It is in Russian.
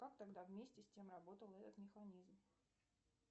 как тогда вместе с тем работал этот механизм